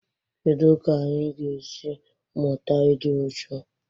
Kedu ka anyị ga-esi mụta ịdị uchu?